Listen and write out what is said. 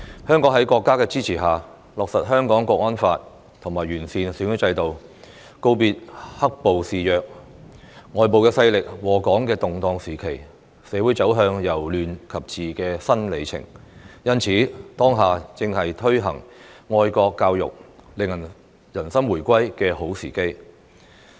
香港在國家的支持下，落實《香港國安法》和完善選舉制度，告別"黑暴"肆虐、外部勢力禍港的的動盪時期，社會走向由亂及治的新里程，因此，當下正是推行愛國教育，令人心回歸的好時機。